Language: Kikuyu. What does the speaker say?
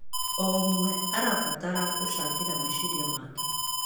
O ũmwe arabatara gũcangĩra meciria make.